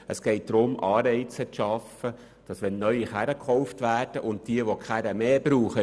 Vielmehr geht es darum, Anreize zu schaffen, damit bei einem Neukauf verbrauchsärmere Fahrzeuge angeschafft werden.